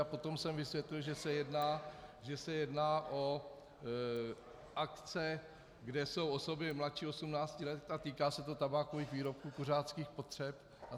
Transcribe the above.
A potom jsem vysvětlil, že se jedná o akce, kde jsou osoby mladší 18 let, a týká se to tabákových výrobků, kuřáckých potřeb atd.